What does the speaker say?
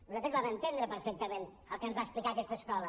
nosaltres vam entendre perfectament el que ens va explicar aquesta escola